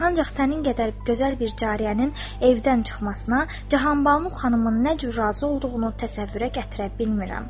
Ancaq sənin qədər gözəl bir cariyənin evdən çıxmasına, Cahanbalu xanımın nə cür razı olduğunu təsəvvürə gətirə bilmirəm.